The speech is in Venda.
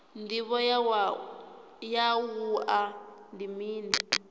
ndivho ya wua ndi mini